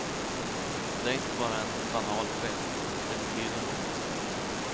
Det är inte bara en banal gest, det betyder något.